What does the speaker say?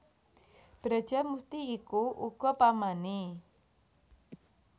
Brajamusti iku uga pamané